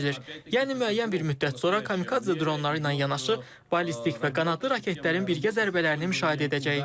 Yəni müəyyən bir müddət sonra kamikadze dronları ilə yanaşı, ballistik və qanadlı raketlərin birgə zərbələrini müşahidə edəcəyik.